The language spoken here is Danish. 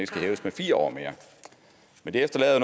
skal hæves med fire år mere men det efterlader